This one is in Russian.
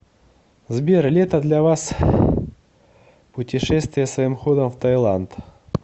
сбер лето для вас путешествия своим ходом в таиланд